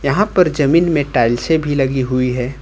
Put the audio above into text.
यहाँ पर जमीन में टाइल्से भी लगी हुई हैं।